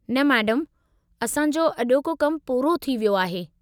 न, मैडमु, असां जो अॼोजो कमु पूरो थी वियो आहे।